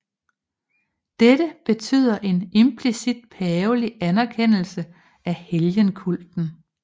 Dette betyder en implicit pavelig anerkendelse af helgenkulten